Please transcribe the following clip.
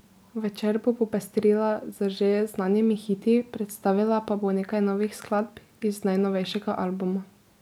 Večer bo popestrila z že znanimi hiti, predstavila pa bo nekaj novih skladb iz najnovejšega albuma.